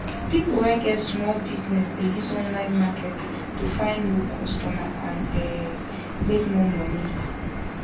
people wey get small business dey use online market to find more customer and um make more money